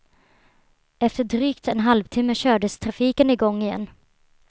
Efter drygt en halvtimme kördes trafiken i gång igen.